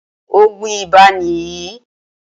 Òògùn ibà ni yìí.